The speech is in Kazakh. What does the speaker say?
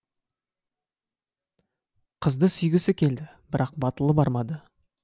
қызды сүйгісі келді бірақ батылы бармады